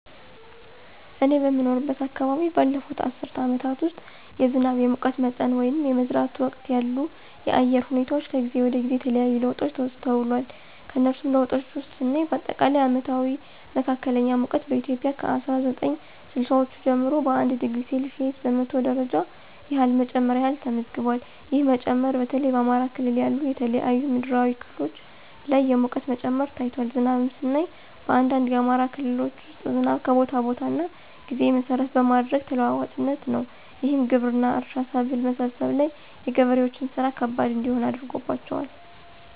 እኔ በምኖርበት አከባቢ ባለፉት አስርት አመታት ውስጥ የዝናብ፣ የሙቀት መጠን ወይንም የመዝራት ወቅት ያሉ የአየር ሁኔታወች ከጊዜ ወደ ጊዜ የተለያየ ለውጦች ተስተውሏል። ከነሱም ለውጦች ውስጥ ስናይ አጠቃላይ አመታዊ መካከለኛ ሙቀት በኢትዮጵያ ከ አስራ ዘጠኝ ስልሳወቹ ጀምሮ 1°c በመቶ ደረጃ ያህል መጨመር ያህል ተመዝግቧል። ይህ መጨመር በተለይ በአማራ ክልል ያሉ የተለያዩ ምድራዊ ክፍሎች ላይ የሙቀት መጨመር ታይቷል። ዝናብንም ስናይ በአንዳንድ የአማራ ክልሎች ውስጥ ዝናብ ከቦታ ቦታ እና ጊዜ መሰረት በማድረግ ተለዋዋጭ ነው። ይህም ግብርና፣ እርሻ፣ ሰብል መሰብሰብ ላይ የገበሬዎችን ስራ ከባድ እንዲሆን አድርጎባቸዋል።